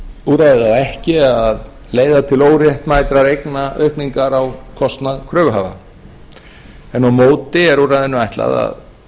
úrræðið á ekki að leiða til óréttmætrar eignaaukningar á kostnað kröfuhafa en á móti er úrræðinu ætlað að